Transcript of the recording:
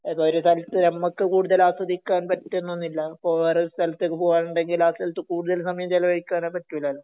ഏതൊരു സ്ഥലത്തും നമുക്ക് കൂടുതൽ ആസ്വദിക്കാൻ പറ്റണം എന്നില്ല ഇപ്പൊ വേറൊരു സ്ഥലത്തേക്കു പോവാൻ ഉണ്ടെങ്കിൽ ആ സ്ഥലത്തു കൂടുതൽ സമയം ചെലവഴിക്കാൻ പറ്റൂല